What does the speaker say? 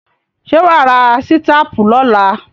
Ṣé wà á ra sítápù lọ́la?